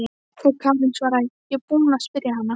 Og Karen svaraði: Ég er búin að spyrja hana.